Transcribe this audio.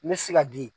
N bɛ se ka di